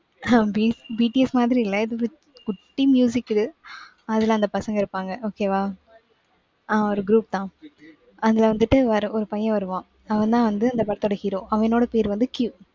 ஆஹ் B~BTS மாதிரி இல்ல இது, குட்டி இது. அதுல அந்த பசங்க இருப்பாங்க. okay வா? ஆஹ் ஒரு group தா. அதுல வந்துட்டு, ஒரு பையன் வருவான். அவன்தான் வந்து, அந்த படத்தோட hero. அவனோட பேரு வந்து, Q